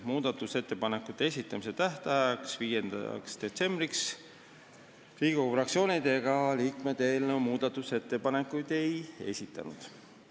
Muudatusettepanekute esitamise tähtajaks, 5. detsembriks Riigikogu fraktsioonid ega liikmed eelnõule muudatusettepanekuid ei esitanud.